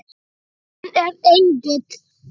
Hann er engill.